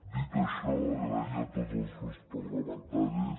dit això donar les gràcies a tots els grups parlamentaris